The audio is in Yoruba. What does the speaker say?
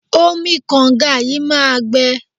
Omi kànga yìí máa gbẹ.